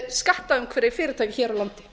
skattaumhverfi fyrirtækja hér á landi